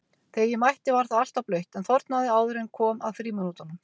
Þegar ég mætti var það alltaf blautt en þornaði áður en kom að frímínútunum.